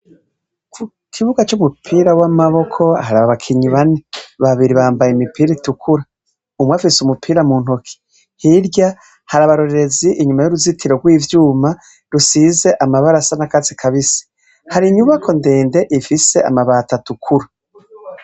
Ku kibuga c'umupira w'amaboko hari abakinyi bane, babiri bambaye imipira itukura. Umwe afise umupira mu ntoke, hirya hari abarorerezi inyuma y'uruzitiro rw'ivyuma rusize amabara asa n'akatsi kabisi. Hari inyubakwa ndende ifise amabati atukura.